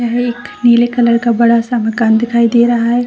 यह एक नीले कलर का बड़ा सा मकान दिखाई दे रहा है।